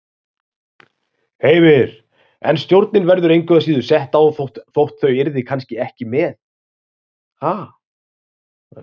Heimir: En stjórnin verður engu að síður sett á þótt þau yrðu kannski ekki með?